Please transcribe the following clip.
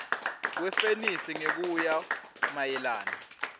wefenisi ngekuya mayelana